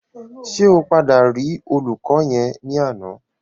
Ṣé o padà rí olùkọ́ yẹn ní àná?